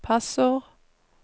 passord